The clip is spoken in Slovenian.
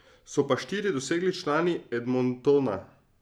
So pa štiri dosegli člani Edmontona.